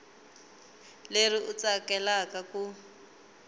leri u ri tsakelaka ku